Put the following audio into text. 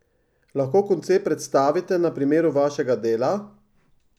Lahko koncept predstavite na primeru vašega dela?